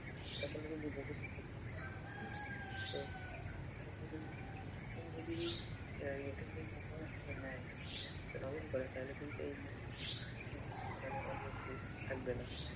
এটা কিন্তু গুরুত্ব নেয় ব্যবস্থা গ্রহন করে তাহলে কিন্তু এই অনিয়ম দুর্নীতি থাকবে না।